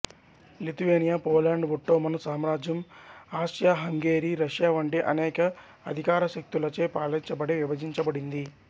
Lithuania Poland Ottoman సామ్రాజ్యం Austria Hungary Russia వంటి అనేక అధికారశక్తులచే పాలించబడి విభజించబడింది